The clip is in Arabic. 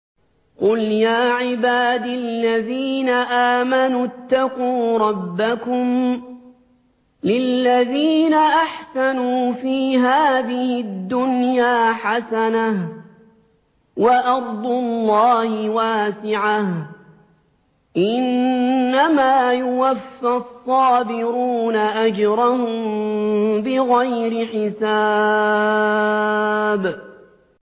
قُلْ يَا عِبَادِ الَّذِينَ آمَنُوا اتَّقُوا رَبَّكُمْ ۚ لِلَّذِينَ أَحْسَنُوا فِي هَٰذِهِ الدُّنْيَا حَسَنَةٌ ۗ وَأَرْضُ اللَّهِ وَاسِعَةٌ ۗ إِنَّمَا يُوَفَّى الصَّابِرُونَ أَجْرَهُم بِغَيْرِ حِسَابٍ